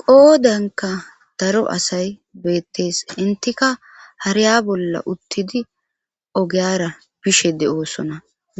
qoodanka daro asay beettees intika hariya bolla uttidi ogeyara bishe de7oosona